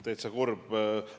Täitsa kurb.